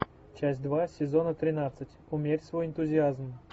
часть два сезона тринадцать умерь свой энтузиазм